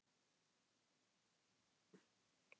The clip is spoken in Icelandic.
Kannske var engin von til þess að hann yrði öðruvísi